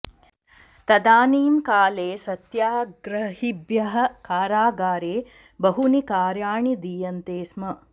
तदानीं काले सत्याग्रहिभ्यः कारागारे बहूनि कार्याणि दीयन्ते स्म